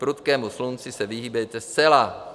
Prudkému slunci se vyhýbejte zcela.